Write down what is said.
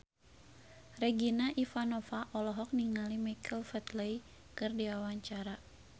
Regina Ivanova olohok ningali Michael Flatley keur diwawancara